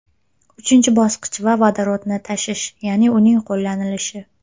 Uchinchi bosqich esa vodorodni tashish, ya’ni uning qo‘llanilishi.